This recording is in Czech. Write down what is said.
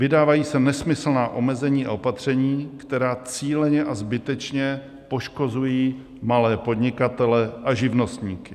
Vydávají se nesmyslná omezení a opatření, která cíleně a zbytečně poškozují malé podnikatele a živnostníky.